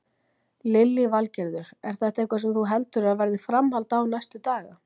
Lillý Valgerður: Er þetta eitthvað sem þú heldur að verði framhald á næstu daga?